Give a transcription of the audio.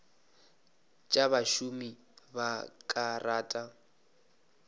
tša bašomi ba ka rata